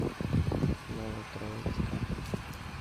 новотроицка